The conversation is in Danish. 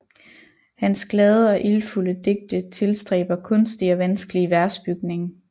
Hans glade og ildfulde digte tilstræber kunstig og vanskelig versbygning